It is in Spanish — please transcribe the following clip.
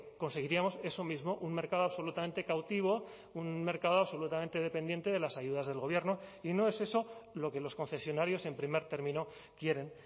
conseguiríamos eso mismo un mercado absolutamente cautivo un mercado absolutamente dependiente de las ayudas del gobierno y no es eso lo que los concesionarios en primer término quieren